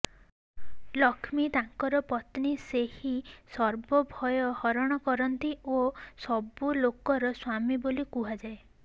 ଲକ୍ଷ୍ମୀ ତାଙ୍କର ପତ୍ନୀ ସେହିଁ ସର୍ବ ଭୟ ହରଣ କରନ୍ତି ଓ ସବୁ ଲୋକର ସ୍ୱାମୀ ବୋଲି କୁହାଯାଏ